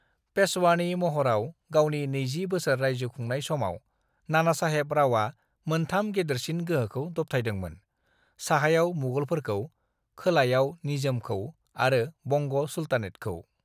"पेशवानि महराव गावनि नैजि बोसोर राइजो खुंनाय समाव, नानासाहेब रावआ मोनथाम गेदेरसिन गोहोखौ दबथायदोंमोन, साहायाव मुगलफोरखौ, खोलायाव निजामखौ आरो बंग सुलतानेतखौ।"